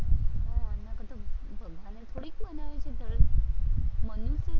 ભગવાને થોડી કોઈ ધર્મ, મનુષ્યએ